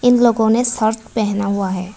इन लोगों ने शर्ट पहना हुआ है।